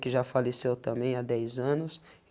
Que já faleceu também há dez anos.